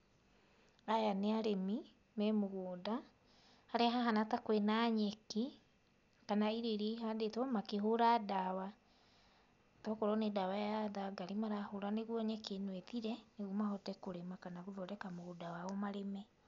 Aya nĩ arĩmi me mũgũnda, harĩa hahana ta kwĩna nyeki kana irio iria ihandĩtwo makĩhũra ndawa. To korwo nĩ ndawa ya thangari marahũra nĩguo nyeki ĩno ĩthire, nĩguo mahote kũrĩma kana gũthondeka mũgũnda wao marĩme.